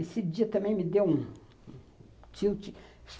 Esse dia também me deu um tilt.